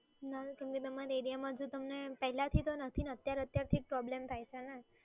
ના મેમ તમે તમારા એરિયામાં જો તમે પહેલાંથી તો નથી ને અત્યાર અત્યારથી જ પ્રોબ્લેમ થાય છે ને?